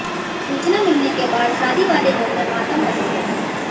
सूचना मिलने के बाद शादी वाले घर में मातम पसर गया